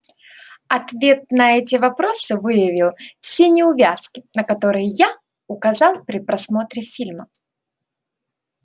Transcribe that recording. ответ на эти вопросы выявил все неувязки на которые я указал при просмотре фильма